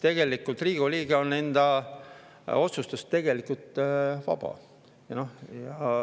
Tegelikult Riigikogu liige on enda otsustes vaba.